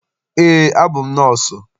Eé, abụ m nọọsụ.